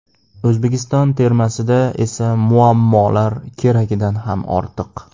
O‘zbekiston termasida esa muammolar keragidan ham ortiq.